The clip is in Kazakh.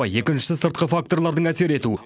екіншісі сыртқы факторлардың әсер ету